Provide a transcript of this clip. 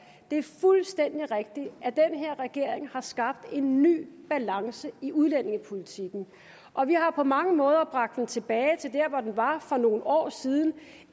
det er fuldstændig rigtigt at den her regering har skabt en ny balance i udlændingepolitikken og vi har på mange måder bragt den tilbage til der hvor den var for nogle år siden